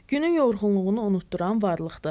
Günün yorğunluğunu unutduran varlıqdır.